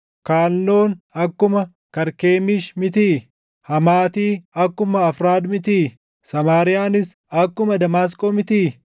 Kaalnoon akkuma Karkemiish mitii? Hamaati akkuma Arfaad mitii? Samaariyaanis akkuma Damaasqoo mitii?